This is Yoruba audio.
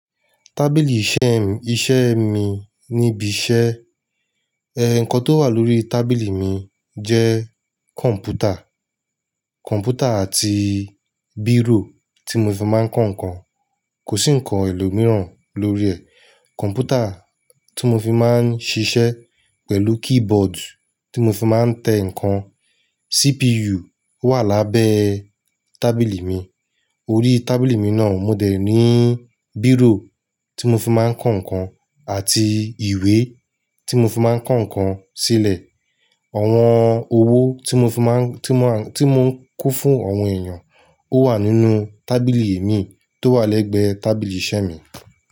Tábìlì iṣẹ́ mi níbi iṣẹ́. Ẹ nǹkan tó wà lórí tábìlì mi jẹ́ kọ̀m̀pútà. Kọ̀m̀pútà àti bírò tí mo fi máa ń kọ́ ǹkan. Kò sí ǹkan ẹlòmíràn lórí ẹ̀. Kọ̀m̀pútà tí mo fi máa ń ṣiṣẹ́ pẹ̀lú keyboard tí mo fi máa ń tẹ ǹkan. CPU wà lábẹ́ tábìlì mi. Orí tábìlì mi náà, mo dẹ̀ ní bírò tí mo fi máa ń kọ́ ǹkan àti ìwé tí mo fi máa ń kọ́ ǹkan sílẹ̀. Àwọn owó tí mo fi máa ń, tí mo, tí mò ń kó fún àwọn èèyàn ó wà nínú tábìlì mi tó wà lẹ́gbẹ̀ẹ́ tábìlì iṣẹ́ mi.